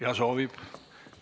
Jah, soovib.